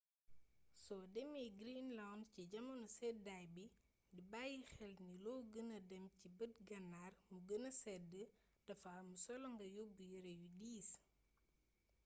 soo demee greenland ci jamono seddaay bi di bàyyi xel ni loo gëna dem ci bët gannaar mu gëna sedd dafa am solo nga yóbb yere yu diis